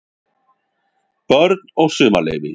BÖRN OG SUMARLEYFI